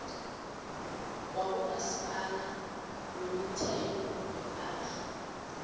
wabomasipala wemithelo yepahla